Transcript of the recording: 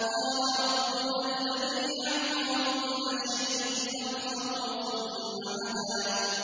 قَالَ رَبُّنَا الَّذِي أَعْطَىٰ كُلَّ شَيْءٍ خَلْقَهُ ثُمَّ هَدَىٰ